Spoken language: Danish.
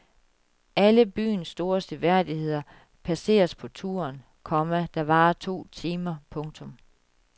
Alle byens store seværdigheder passeres på turen, komma der varer to timer. punktum